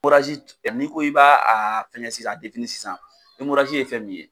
n'i ko i ba a fɛngɛ sisan a sisan ye fɛn min ye.